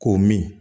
K'o min